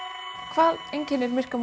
hvað einkennir myrka